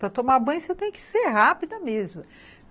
Para tomar banho, você tem que ser rápida mesmo.